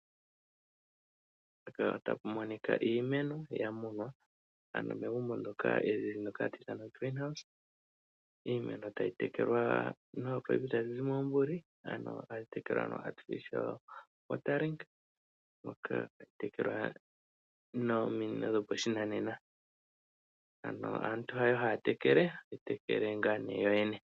Mpaka ota pu monika iimeno ya munwa ano megumbo ndoka ezizi. Iimeno tayi tekelwa nominino tadhi zi moombuli. Moka hadhi tekelwa nominino dho pashinanena. Ano aantu hayo haya tekele ohayi tekele ngaa yoyene.